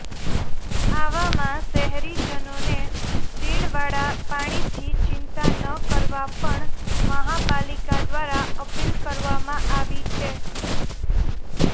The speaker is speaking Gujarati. આવામાં શહેરીજનોને ફીણવાળા પાણીથી ચિંતા ન કરવા પણ મહાપાલિકા દ્વારા અપીલ કરવામાં આવી છે